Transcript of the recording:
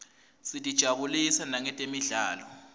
sitijabulisa nangetemidlalo